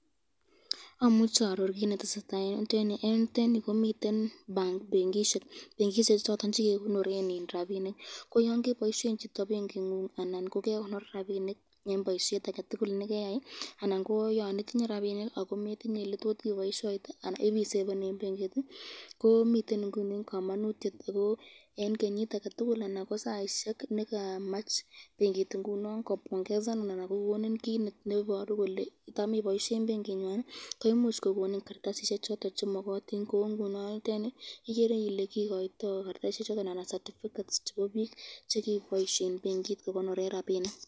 Amuche aaror kit netesetai eng yutenyu, eng yutenyu komiten benkishek choton chekekonoren rapishek ko yon keboisyen chito benkingung anan ko kekonoren rabinik eng boisyet ake tukul nekeyai anan ko yan itinye rabinik anan kometinye eletot iboishyoitet anan ipiseben eng benkit .